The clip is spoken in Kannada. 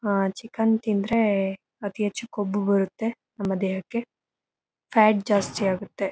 ಆ ಚಿಕನ್ ತಿಂದ್ರೆ ಅತಿ ಹೆಚ್ಚು ಕೊಬ್ಬು ಬರತ್ತೆ ನಮ್ಮ ದೇಹಕ್ಕೆ ಫ್ಯಾಟ್ ಜಾಸ್ತಿ ಆಗತ್ತೆ.